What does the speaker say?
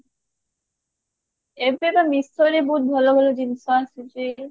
ଏବେ ବା meesho ବହୁତ ଭଲ ଭଲ ଜିନିଷ ଆସୁଛି